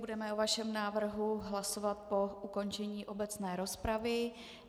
Budeme o vašem návrhu hlasovat po ukončení obecné rozpravy.